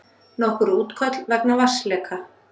Nokkur útköll vegna vatnsleka